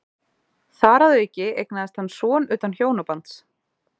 Þar að auki eignaðist hann son utan hjónabands.